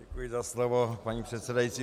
Děkuji za slovo, paní předsedající.